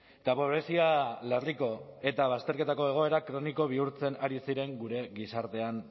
eta pobrezia larriko eta bazterketako egoera kroniko bihurtzen ari ziren gure